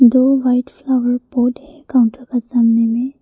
दो white flower pot है counter का सामने में--